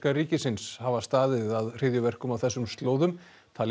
ríkisins hafa staðið að hryðjuverkum á þessum slóðum